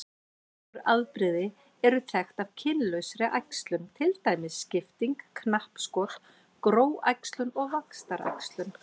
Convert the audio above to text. Nokkur afbrigði eru þekkt af kynlausri æxlun til dæmis skipting, knappskot, gróæxlun og vaxtaræxlun.